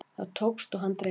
Það tókst og hann dreymdi.